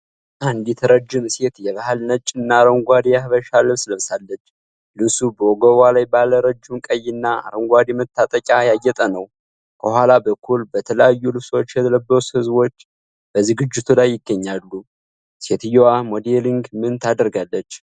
አንዲት ረጅም ሴት የባህል ነጭና አረንጓዴ የሐበሻ ልብስ ለብሳለች። ልብሱ በወገቧ ላይ ባለ ረጅም ቀይና አረንጓዴ መታጠቂያ ያጌጠ ነው። ከኋላ በኩል በተለያዩ ልብሶች የለበሰ ህዝብ በዝግጅቱ ላይ ይገኛል። ሴትየዋ ሞዴሊንግ ምን ታደርጋለች?